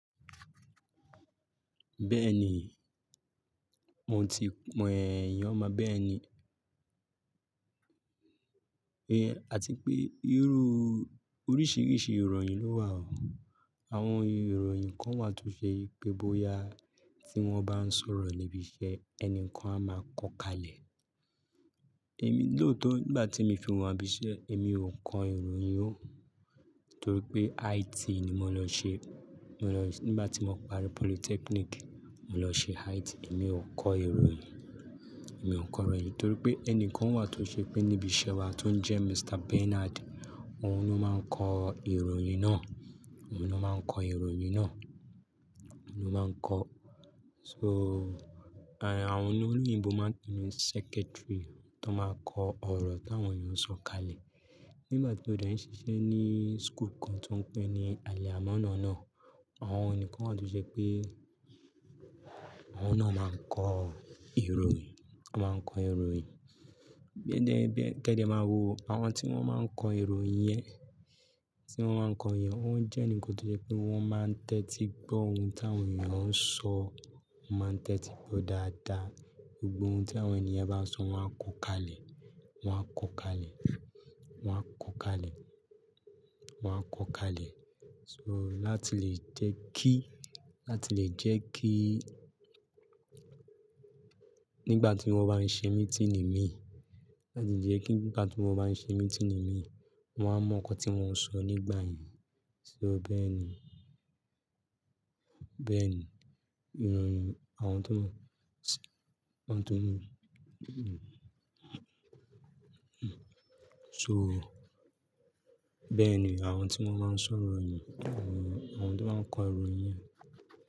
Bẹ́ẹ̀ni, mo ti èèyàn máa bẹ́ẹ̀ ni. Àti pé irú oríṣiríṣi ìroyn ló wà o. Awọn irọyin kàn wà to je wípé bóyá ti wọn ba sọrọ ni ìbí iṣẹ enikan a má kò kale. Ẹ̀mi lóòótọ́ nígbà tí ẹ̀mi fi wa ni ibi iṣẹ́ ẹ̀mi ò kọ ìròyìn ó. Nítorí pé IT ni mó lọ ṣe. Nígbà tí mò parí Polytechnic, mò lọ ṣe IT. Èmi ò kọ ìròyìn, èmi ò kọ ìròyìn. Nítorí pé ẹni kan wà tó ṣe pé níbi iṣẹ́ wa tó ń jẹ́ Mr. Bernard, òun ló máa ń kọ ìròyìn náà, òun ló máa ń kọ ìròyìn náà, òun ló máa ń kọ. So, àwọn olóyìnbo máa ń pè ní secretary tó máa kọ ọ̀rọ̀ tí àwọn èèyàn ń sọ kalẹ̀. Nígbà tí ó dà ní ṣiṣẹ́ ní school kan tó ń pè ní Àlẹ̀ Àmánọ̀ náà, àwọn enikan wà tó je pé awọ́n náà máa ń kọ ìròyìn, wọ́n máa ń kọ ìròyìn. Kẹ́ dẹ máa wo, àwọn tí wọ́n máa ń kọ ìròyìn yẹn, tí wọ́n máa ń kọ ìròyìn, wọ́n jẹ́ ènìyàn tó jẹ́ pé wọ́n máa ń tẹ́tí gbọ́ ohun tí àwọn èèyàn ń sọ, wọ́n máa ń tẹ́tí gbọ́ dáadáa, gbogbo ohun tí àwọn èniyen bá sọ wọ́n á kọ kalẹ̀, wọ́n á kọ kalẹ̀, wọ́n á kọ kalẹ̀, wọ́n á kọ kalẹ̀. So, láti lè jẹ́ kí, láti lè jẹ́ kí nígbà tí wọ́n bá ń ṣe meeting imi, láti jẹ́ kí nígbà tí wọ́n bá ń ṣe meeting mi, wọ́n mo nnkan tí wọn sọ nígbà yẹn. So bẹ́ẹ̀ ni, bẹ́ẹ̀ ni ìròyìn àwọn tó mọ, wọ́n tó mọ. So, bẹ́ẹ̀ ni àwọn tí wọ́n máa ń sọ́ ìròyìn, àwọn tó máa ń kọ ìròyìn yẹn.